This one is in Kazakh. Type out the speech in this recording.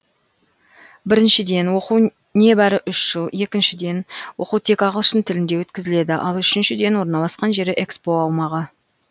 біріншіден оқу небәрі үш жыл екіншіден оқу тек ағылшын тілінде өткізіледі ал үшіншіден орналасқан жері экспо аумағы